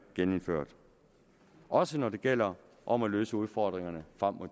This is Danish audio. genindført også når det gælder om at løse udfordringerne frem mod